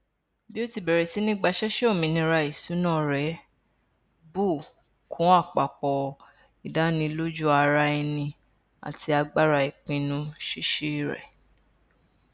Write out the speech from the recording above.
bí ó ṣe bẹrẹ sí ní gbaṣẹṣe òmìnira ìṣúná rẹ bù kún àpapọ ìdánilójúara ẹni àti agbára ìpinnu ṣíṣe rẹ